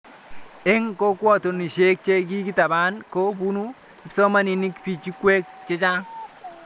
Eng' kokwatonoshek che kikitaban ko pune kipsomanik pichinwek chechang